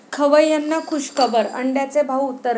खवय्यांना खूशखबर, अंड्याचे भाव उतरले